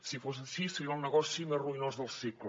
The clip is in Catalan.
si fos així seria el negoci més ruïnós del segle